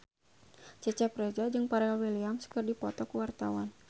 Cecep Reza jeung Pharrell Williams keur dipoto ku wartawan